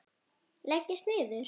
Leggist niður.